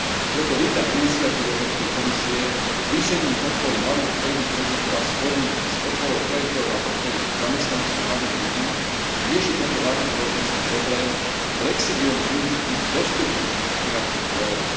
Preto vítam iniciatívu Európskej komisie zvýšením podpory malých a stredných podnikov a v spojení s podporou projektov na podporu zamestnanosti mladých ľudí riešiť tento vážny spoločenský problém flexibilným využitím dostupných finančných zdrojov.